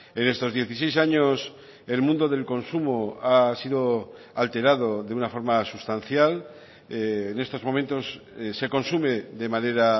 en estos dieciséis años el mundo del consumo ha sido alterado de una forma sustancial en estos momentos se consume de manera